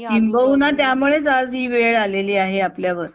किंबहुना त्यामुळेंच आज ही वेळ आली आहे आपल्यावर?